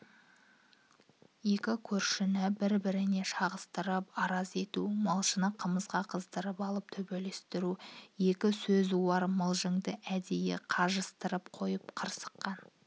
екі көршіні бір-біріне шағыстырып араз ету малшыны қымызға қыздырып ап төбелестіру екі сөзуар мылжынды әдейі қажастырып қойып қырқысқан